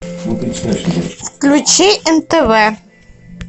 включи нтв